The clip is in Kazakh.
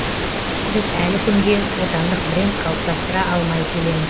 біз әлі күнге отандық бренд қалыптастыра алмай келеміз